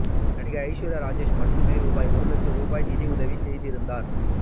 நடிகை ஐஸ்வர்யாராஜேஷ் மட்டுமே ரூபாய் ஒரு லட்சம் ரூபாய் நிதி உதவி செய்திருந்தார்